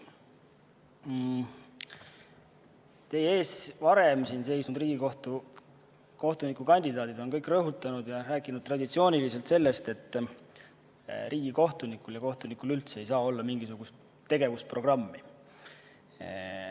Siin teie ees varem seisnud Riigikohtu kohtuniku kandidaadid on kõik rõhutanud ja rääkinud traditsiooniliselt sellest, et riigikohtunikul ja kohtunikul üldse ei saa olla mingisugust tegevusprogammi.